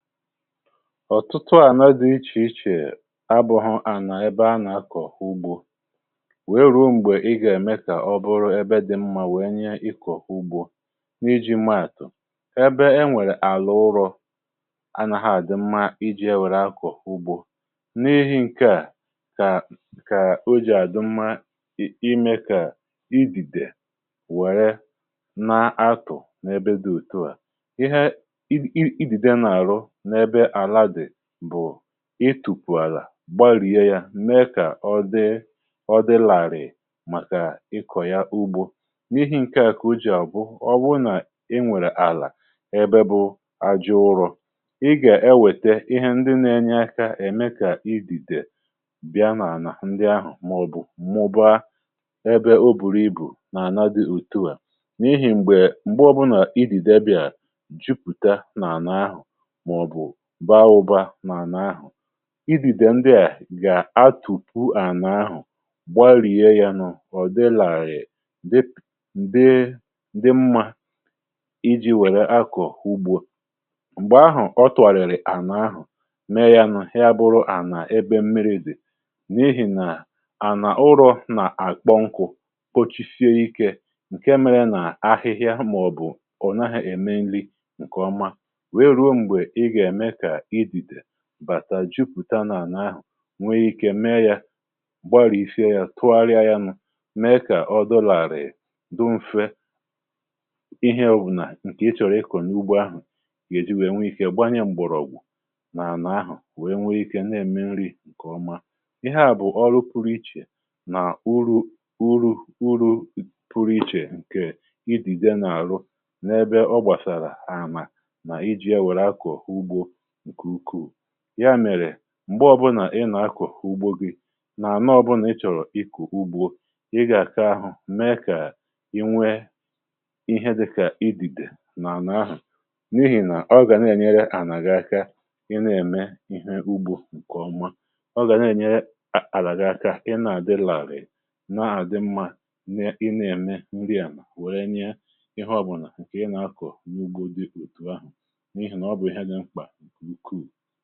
ọ̀tụtụ àná dị̀ ichèichè abụ̇hụ à nà ebe anà-akọ̀ ugbȯ wèe rùrù m̀gbè i gà-ème kà ọ bụrụ ebe dị̇ mmȧ wèe nye ịkọ̀ ugbȯ n’iji maàtụ̀ ebe enwèrè àlụ̀ ụrọ̇ anà ha àdị mmȧ iji̇ èwèrè akọ̀ ugbȯ n’ihì̇ nke à kà o jì àdị mmȧ imė kà idìdè wère na atụ̀ n’ebe dị̇ òtuà um ihe idìdè nà àrụ itùpù àlà gbalìe ya mee kà ọ dị ọ dị làrị̀ màkà ị kọ̀ya ugbȯ n’ihi ǹkè à kà ujì àbụ, ọbụ nà i nwèrè àlà ebe bụ ajọ̇ ụrọ̇ ị gà-ewète ihe ndị nȧ-ėnyė akȧ ème kà idìdè bịa n’àlà ndị ahụ̀ màọ̀bụ̀ mmụba ebe o bùrù ibù n’àna dị ùtuà n’ihì m̀gbè m̀gbe ọbụ̀nà idìdè ebìa jupùta n’àna ahụ̀ idìdè ndià gà àtupuà à n’ahụ̀ gbarìe yà nọ̀ ọ dị làghị̀ dị mmȧ iji̇ wère akọ̀ ugbu m̀gbè ahụ̀ ọ twàrị̀rị̀ à n’ahụ̀ mee yȧ nọ ha bụrụ à nà ebe mmiri̇ dì n’ihì nà ànà urù nà àkpọ nkụ̇ kpochisie ikė ǹke mmiri̇ nà ahịhịȧ màọ̀bụ̀ ònyapụ̀ àhịa ème nli ǹkèọma bàtà jupùta n’àna ahụ̀ nwee ikė meė yȧ gbarìe ife yȧ tụgharịa yȧ nà mee kà o dọlàrị̀ị̀ dụmfe ihẹ òbunà ǹkè ị chọ̀rọ̀ ịkọ̀ n’ugbo ahụ̀ gèji nwèe nwe ikė gbanye m̀gbọ̀rọ̀ ògwù nà-ànà ahụ̀ nwe ikė nà-ème nri ǹkèọma. ihe à bụ̀ ọrụ pụrụ ichè nà uru pụrụ ichè ǹkè idìdè n’àrụ n’ebe ọ gbàsàrà ha àma ǹkè ukù ya mèrè m̀gbè ọbụnà ị nà-akọ̀hụ̀ ugbȯ gị n’ànọ ọbụnà ị chọ̀rọ̀ ikù ugbȯ ị gà àkà ahụ̀ mee kà i nwe ihe dịkà idìdè n’àlà ahụ̀ n’ihì nà ọ gà na-ènyere ànàgà aka ị na-ème ihe ugbȯ ǹkèọma ọ gà na-ènyere àlàgà aka ị na-àdị larị̀ n’àdị mmȧ n’ị na-ème ndị ànà wère nye ihe ọbụnà ǹkè ị nà-akọ̀ n’ugbo dị kùù ahụ̀ n’ihì nà ọ bụ̀ ihe a dị mkpà mkụ.